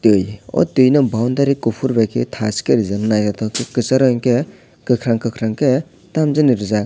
tui o tui no boundary kuphur bai khe thash khe rijak naithotok khe kwcharo hinkhe kwkhwrang kwkhwrang khe tamjani rijak.